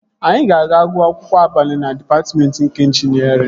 Anyị ga-aga gụọ akwụkwọ abalị na dịpatmentị nke ịnjinierịn